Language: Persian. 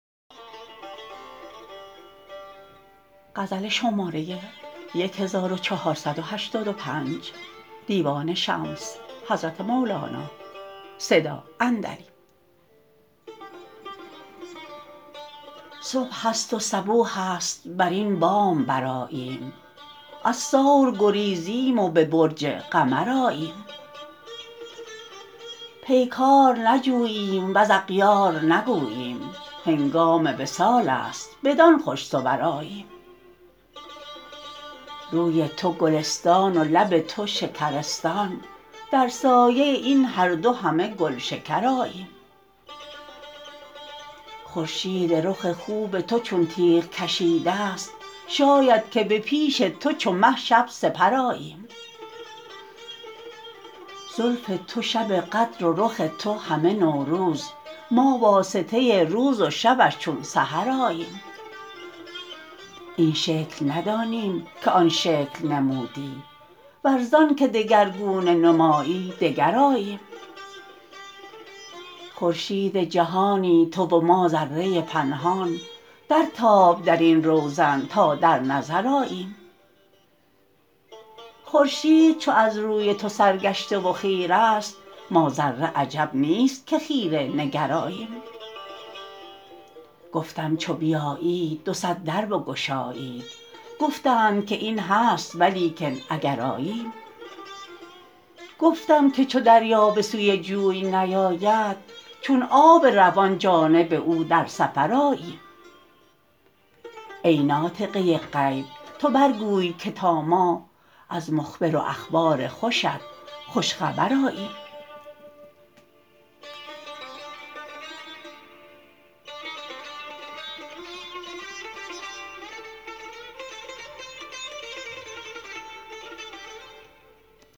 صبح است و صبوح است بر این بام برآییم از ثور گریزیم و به برج قمر آییم پیکار نجوییم و ز اغیار نگوییم هنگام وصال است بدان خوش صور آییم روی تو گلستان و لب تو شکرستان در سایه این هر دو همه گلشکر آییم خورشید رخ خوب تو چون تیغ کشیده ست شاید که به پیش تو چو مه شب سپر آییم زلف تو شب قدر و رخ تو همه نوروز ما واسطه روز و شبش چون سحر آییم این شکل ندانیم که آن شکل نمودی ور زانک دگرگونه نمایی دگر آییم خورشید جهانی تو و ما ذره پنهان درتاب در این روزن تا در نظر آییم خورشید چو از روی تو سرگشته و خیره ست ما ذره عجب نیست که خیره نگر آییم گفتم چو بیایید دو صد در بگشایید گفتند که این هست ولیکن اگر آییم گفتم که چو دریا به سوی جوی نیاید چون آب روان جانب او در سفر آییم ای ناطقه غیب تو برگوی که تا ما از مخبر و اخبار خوشت خوش خبر آییم